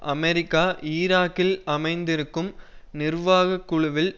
America ஈராக்கில் அமைத்திருக்கும் நிர்வாக குழுவில்